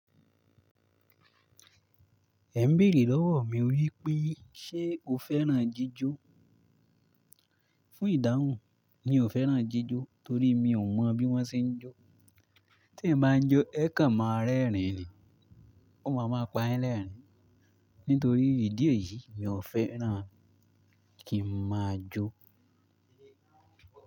Ẹ ń béèrè lọ́wọ́ mi wípé, ṣe o fẹ́ràn jíjó? Fún ìdáhùn, mi ò fẹ́ràn jíjó torí mi ò mọ bí wọ́n ṣe ń jó. Tí èmi báa ń jó, ẹ kan máa rẹ́rìn-ín ni. Ó ma ma pa yin lẹ́rìn-ín. Nítorí ìdí èyí, mi ò fẹ́ràn kí n máa jó.